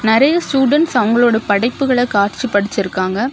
நெறைய ஸ்டூடன்ட்ஸ் அவங்களுடைய படைப்புகள காட்சிப்படச்சிருக்காங்க.